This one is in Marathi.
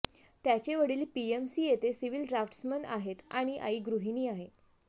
त्याचे वडील पीएमसी येथे सिव्हिल ड्राफ्ट्स मॅन आहेत आणि आई गृहिणी आहे